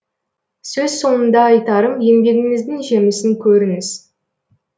сөз соңында айтарым еңбегіңіздің жемісін көріңіз